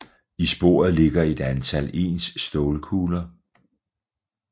I sporet ligger et antal ens stålkugler